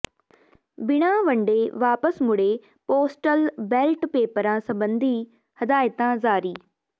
ਬਿਨਾ ਵੰਡੇ ਵਾਪਸ ਮੁੜੇ ਪੋਸਟਲ ਬੈਲਟ ਪੇਪਰਾਂ ਸਬੰਧੀ ਹਦਾਇਤਾਂ ਜਾਰੀ